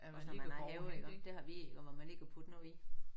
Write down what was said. Ja når man har have iggå. Det har vi iggå hvor man lige kan putte noget i